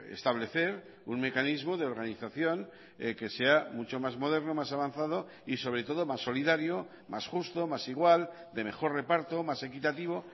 establecer un mecanismo de organización que sea mucho más moderno más avanzado y sobre todo más solidario más justo más igual de mejor reparto más equitativo